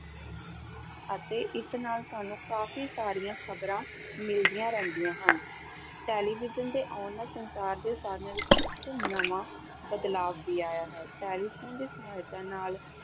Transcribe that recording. ਅਤੇ ਇਸ ਨਾਲ ਸਾਨੂੰ ਕਾਫ਼ੀ ਸਾਰੀਆਂ ਖ਼ਬਰਾਂ ਮਿਲਦੀਆਂ ਰਹਿੰਦੀਆਂ ਹਨ, ਟੈਲੀਵਿਜ਼ਨ ਦੇੇ ਆਉਣ ਨਾਲ ਸੰਚਾਰ ਦੇ ਸਾਧਨਾਂ ਵਿੱਚ ਇੱਕ ਨਵਾਂ ਬਦਲਾਵ ਵੀ ਆਇਆ ਹੈ, ਟੈਲੀਫ਼ੋਨ ਦੀ ਸਹਾਇਤਾ ਨਾਲ